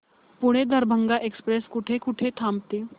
Pune Darbhanga express कुठे कुठे थांबते